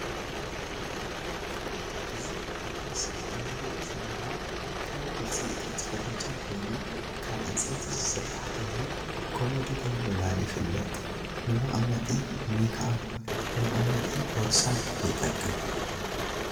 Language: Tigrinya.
እዚ ኣብ ምስሊ እንሪኦ ዘለና ካብ ውጽኢታት ፈርኔቸር ኮይኑ ካብ ዕንጸይቲ ዝስራሕ ኮይኑ ኮሞዲኖ ብምባል ይፍለጥ ንመቀመጢ ሜክ ኣብ መቀመጢ ቦርሳ ይጠቅም።